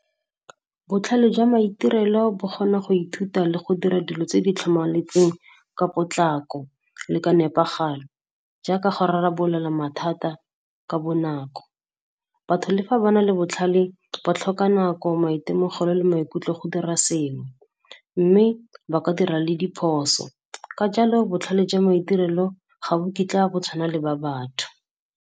Botlhale jwa maitirelo bo kgona go ithuta le go dira dilo tse di tlhamaletseng ka potlako le ka nepagalo, jaaka go rarabolola mathata ka bonako. Batho le fa ba na le botlhale, ba tlhoka nako, maitemogelo le maikutlo go dira sengwe, mme ba ka dira le diphoso. Ka jalo, botlhale jwa maitirelo ga bo kitla bo tshwana le ba batho.